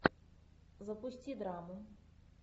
запусти драму